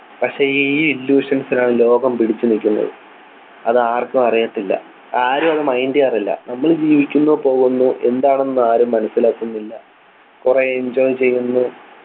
പക്ഷേ ഈ illusions ൽ ആണ് ലോകം പിടിച്ചുനിൽക്കുന്നത് അത് ആർക്കും അറിയത്തില്ല ആരും അത് mind ചെയ്യാറില്ല നമ്മൾ ജീവിക്കുന്നു പോകുന്നു എന്താണെന്ന് ആരും മനസ്സിലാക്കുന്നില്ല കുറേ enjoy ചെയ്യുന്നു